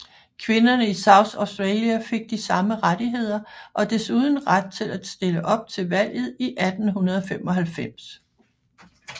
Kvinderne i South Australia fik de samme rettigheder og desuden ret til at stille op til valget i 1895